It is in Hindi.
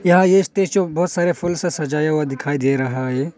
यह स्टेज है जो बहुत सारे फूल से सजाया हुआ दिखाई दे रहा है।